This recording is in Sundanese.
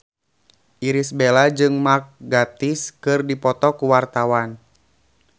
Irish Bella jeung Mark Gatiss keur dipoto ku wartawan